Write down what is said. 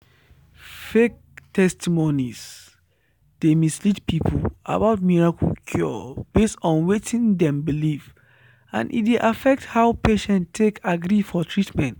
“fake testimonies dey mislead people about miracle cure based on wetin dem believe and e dey affect how patients take agree for treatment.”